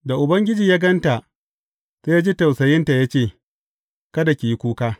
Da Ubangiji ya gan ta, sai ya ji tausayinta ya ce, Kada ki yi kuka.